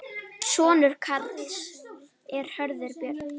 Sonur Karls er Hörður Björn.